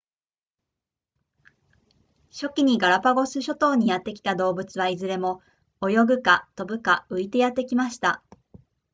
初期にガラパゴス諸島にやってきた動物はいずれも泳ぐか飛ぶか浮いてやってきました